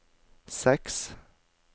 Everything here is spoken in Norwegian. seks